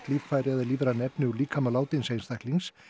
líffæri eða lífræn efni úr líkama látins einstaklings